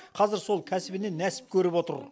қазір сол кәсібінен нәсіп көріп отыр